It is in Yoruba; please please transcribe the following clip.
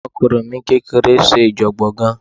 Ọmọkùnrin mi kékeré ń ṣèjọ̀gbọ̀n gan-an